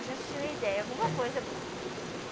A gente tinha nem ideia, alguma coisa boa.